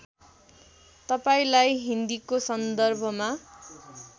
तपाईँलाई हिन्दीको सन्दर्भमा